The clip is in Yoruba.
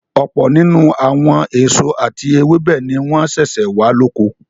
Ọ̀pọ̀ nínú àwọn èso àti ewébẹ̀ ni wọ́n sẹ̀sẹ̀ wà lóko.